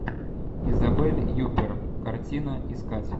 изабель юппер картина искать